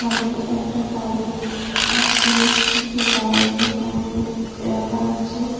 সামনে একটা গাড়ি আছে কিছু বাইক এখানে রাখা আছে।